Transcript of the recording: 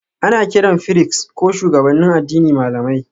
Ana kiran firist ko shugabannin addini malamai